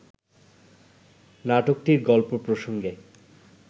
নাটকটির গল্প প্রসঙ্গে